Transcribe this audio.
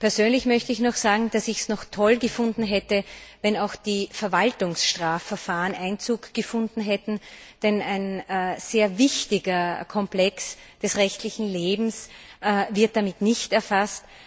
Persönlich möchte ich noch sagen, dass ich es toll gefunden hätte, wenn auch die Verwaltungsstrafverfahren Einzug gehalten hätten, denn nun wird ein sehr wichtiger Komplex des rechtlichen Lebens nicht erfasst.